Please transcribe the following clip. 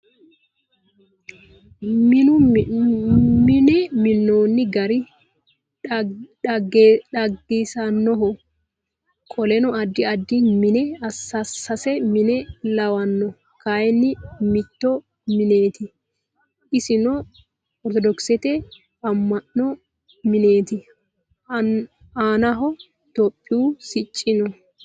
Mune minnooni gari diniqisannoho. Qoleno addi addi mine sase mine lawanno. Kayiinni mitto mineeti. Isino ortodokisete ama'no mineeti. Aanaho itiyophiyu sicci no.